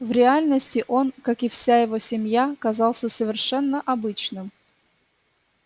в реальности он как и вся его семья казался совершенно обычным